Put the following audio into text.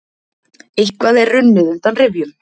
Eitthvað er runnið undan rifjum